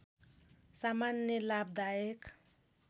सामान्य लाभदायक